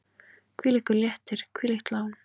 Hvílíkur léttir, hvílíkt lán!